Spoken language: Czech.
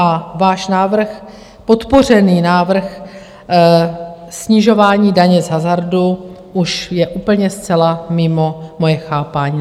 A váš návrh, podpořený návrh snižování daně z hazardu, už je úplně zcela mimo moje chápání.